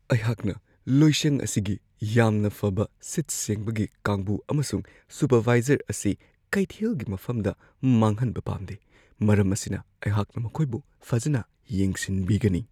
ꯑꯩꯍꯥꯛꯅ ꯂꯣꯏꯁꯪ ꯑꯁꯤꯒꯤ ꯌꯥꯝꯅ ꯐꯕ ꯁꯤꯠ-ꯁꯦꯡꯕꯒꯤ ꯀꯥꯡꯕꯨ ꯑꯃꯁꯨꯡ ꯁꯨꯄꯔꯚꯥꯢꯖꯔ ꯑꯁꯤ ꯀꯩꯊꯦꯜꯒꯤ ꯃꯐꯝꯗ ꯃꯥꯡꯍꯟꯕ ꯄꯥꯝꯗꯦ ꯫ ꯃꯔꯝ ꯑꯁꯤꯅ, ꯑꯩꯍꯥꯛꯅ ꯃꯈꯣꯏꯕꯨ ꯐꯖꯅ ꯌꯦꯡꯁꯤꯟꯕꯤꯒꯅꯤ ꯫